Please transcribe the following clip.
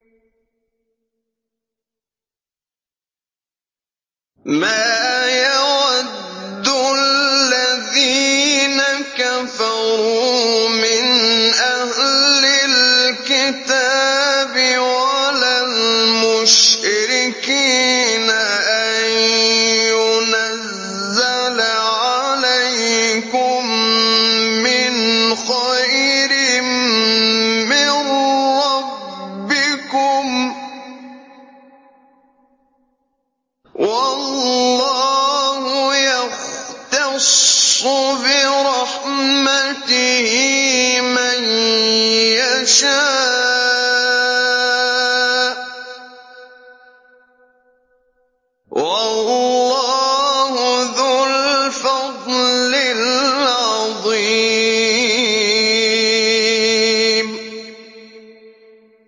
مَّا يَوَدُّ الَّذِينَ كَفَرُوا مِنْ أَهْلِ الْكِتَابِ وَلَا الْمُشْرِكِينَ أَن يُنَزَّلَ عَلَيْكُم مِّنْ خَيْرٍ مِّن رَّبِّكُمْ ۗ وَاللَّهُ يَخْتَصُّ بِرَحْمَتِهِ مَن يَشَاءُ ۚ وَاللَّهُ ذُو الْفَضْلِ الْعَظِيمِ